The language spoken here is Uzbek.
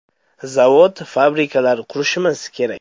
Zavod-fabrikalar qurishimiz kerak.